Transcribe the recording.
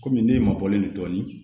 Komi ne ma bɔlen dɔɔnin